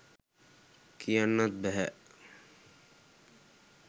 කියන්නත් බැහැ.